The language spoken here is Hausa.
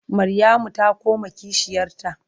Maryamu ta ƙona kishiyarta.